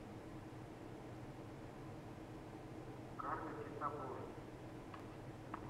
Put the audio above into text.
карлики с обложки